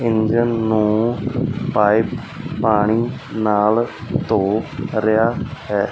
Engine ਨੂੰ pipe ਪਾਣੀ ਨਾਲ ਧੋ ਰਿਹਾ ਹੈ।